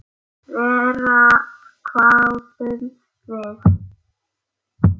Verr, hváðum við.